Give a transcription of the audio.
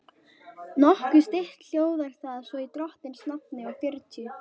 Nokkuð stytt hljóðar það svo í drottins nafni og fjörutíu